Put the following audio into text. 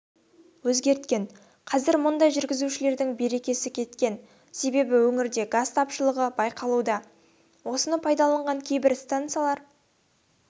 өзгерткен қазір мұндай жүргізушілердің берекесі кеткен себебі өңірде газ тапшылығы байқалуда осыны пайдаланған кейбір стансалар